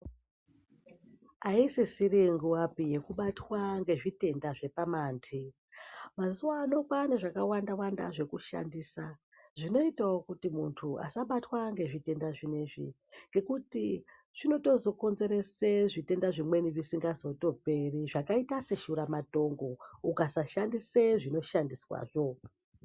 Aisisiri nguwapi yekubatwa nezvitenda zvepamandi mazuva ano kwane zvakawanda wanda zvekushandisa zvinoitawo kuti muntu asabatwa nezvitenda zvinenzvi ngekuti zvinozoto konzeresa zvimweni zvitenda zvisingazoperi zvakaita seshura matongo ukasashandisa zvinoshandiswazvo.